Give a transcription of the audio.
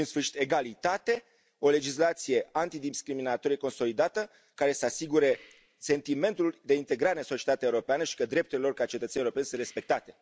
Și, în sfârșit, egalitate, o legislație antidiscriminatorie consolidată, care să asigure sentimentul de integrare în societatea europeană și că drepturile lor ca cetățeni europeni sunt respectate.